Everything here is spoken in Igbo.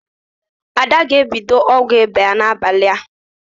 Ada ga-ebido ọgwụ ịba ya n'abalị a.